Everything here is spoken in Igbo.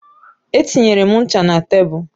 Etinyere m ncha na tebụl